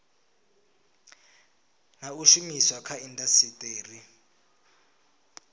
na u shumiswa kha indasiteri